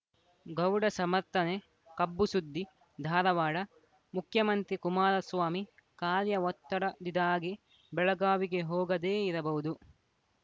ಗೌಡ ಸಮರ್ಥನೆ ಕಬ್ಬು ಸುದ್ದಿ ಧಾರವಾಡ ಮುಖ್ಯಮಂತ್ರಿ ಕುಮಾರಸ್ವಾಮಿ ಕಾರ್ಯ ಒತ್ತಡ ದಿದಾಗೆ ಬೆಳಗಾವಿಗೆ ಹೋಗದೇ ಇರಬಹುದು